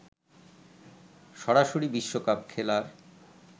সরাসরি বিশ্বকাপ খেলার